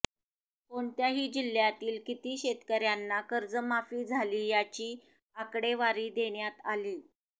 कोणत्या जिल्ह्यातील किती शेतकऱ्यांना कर्जमाफी झाली याची आकडेवारी देण्यात आलीय